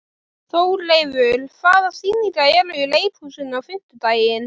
Þórleifur, hvaða sýningar eru í leikhúsinu á fimmtudaginn?